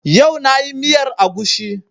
Yau na yi miyar agushi